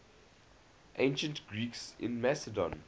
ancient greeks in macedon